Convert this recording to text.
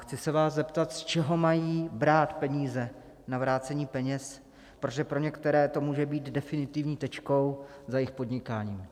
Chci se vás zeptat, z čeho mají brát peníze na vrácení peněz, protože pro některé to může být definitivní tečkou za jejich podnikáním.